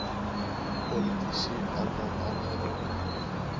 politici almal aangeraak